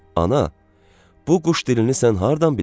Ana, bu quş dilini sən hardan bilirsən?